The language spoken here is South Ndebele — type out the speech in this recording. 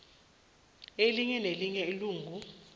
elinye nelinye ilungu